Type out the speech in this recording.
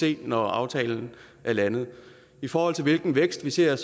se når aftalen er landet i forhold til hvilken vækst vi ser er